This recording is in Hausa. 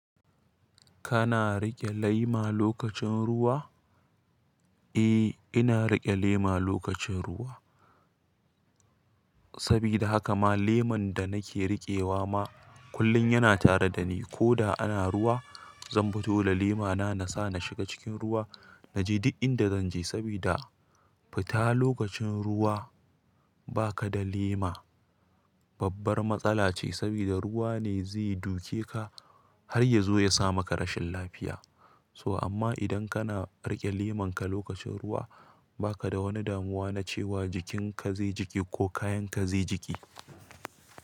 Kana riƙe lema lokacin ruwa? Eh, ina riƙe lema lokacin ruwa. Sabida haka ma leman da nake riƙewa ma kullum yana tare da ni. Ko da ana ruwa, zan fito da lemana na sa na shiga cikin ruwa. Naje duk inda zan je sabida fita lokacin ruwa ba ka da lema, babbar matsala ce. Sabida ruwa ne zai duke ka har ya zo ya sama ka rashin lafiya. To amma idan kana riƙe leman ka lokacin ruwa, baka da wani damuwa na cewa jikin ka zai jiƙe ko kayan ka zai jiƙe.